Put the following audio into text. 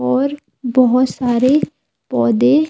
और बहुत सारे पौदे--